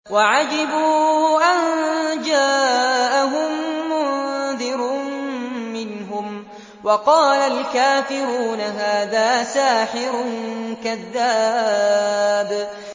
وَعَجِبُوا أَن جَاءَهُم مُّنذِرٌ مِّنْهُمْ ۖ وَقَالَ الْكَافِرُونَ هَٰذَا سَاحِرٌ كَذَّابٌ